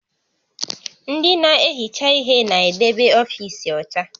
Ndị na-ehicha ihe na-edebe ọfiisi ọcha